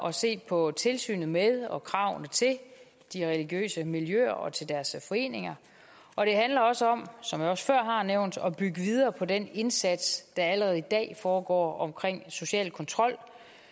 at se på tilsynet med og kravene til de religiøse miljøer og deres foreninger og det handler også om som jeg før har nævnt at bygge videre på den indsats der allerede i dag foregår omkring social kontrol